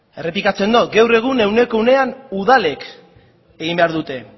errepikatzen dut gaur egun ehuneko ehunean udalek egin behar dute